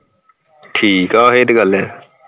ਠੀਕ ਆ ਇਹ ਤੇ ਗੱਲ ਹੈ